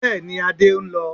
Bẹ́ẹ̀ni, Adé ń lọ